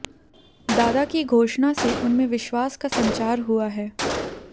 दादा की घोषणा से उनमें विश्वास का संचार हुआ है